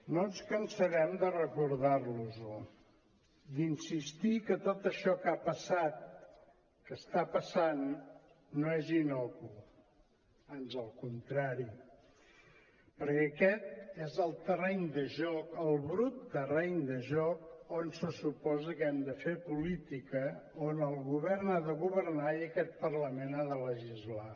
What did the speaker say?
no ens cansarem de recordar·los·ho d’insistir que tot això que ha passat que està passant no és innocu ans al contrari perquè aquest és el terreny de joc el brut terreny de joc on se suposa que hem de fer política on el govern ha de go·vernar i aquest parlament ha de legislar